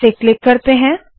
इसे क्लिक करते है